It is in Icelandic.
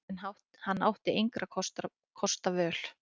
En hann átti engra kosta völ.